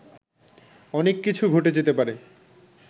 অনেক কিছু ঘটে যেতে পারে